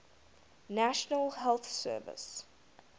national health service